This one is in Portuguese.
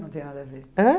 Não tem nada a ver. Ãh?